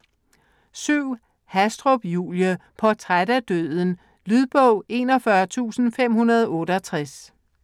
Hastrup, Julie: Portræt af døden Lydbog 41568